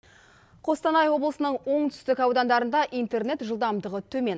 қостанай облысының оңтүстік аудандарында интернет жылдамдығы төмен